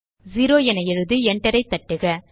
0 என எழுதி enter ஐ தட்டுக